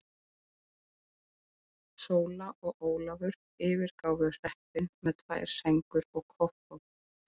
Sóla og Ólafur yfirgáfu hreppinn með tvær sængur og koffort.